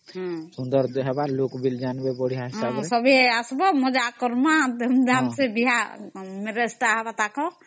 ହଁ ସମସ୍ତେ କାମ କରମା, ମଜା ମସ୍ତି କରମା